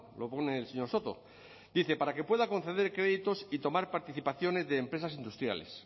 lo pone el señor soto dice para que pueda conceder créditos y tomar participaciones de empresas industriales